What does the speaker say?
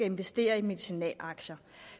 investere i medicinalaktier